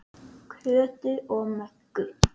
Kötu og Möggu.